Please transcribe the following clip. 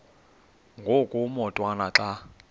ngoku umotwana xa